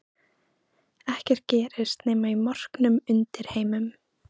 Ekkert gerist nema í morknum undirheimum.